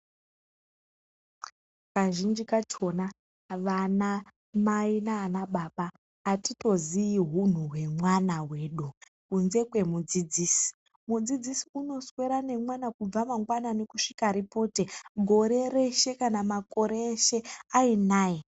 Kazhinji kachona vanamai nanababa atitozii hunhu wemwana wedu kunze kwemudzidzisi mudzidzisi unoswera nemwana kubva mangwanani kusvika ripote gore reshe kana makore eshe ayinaye.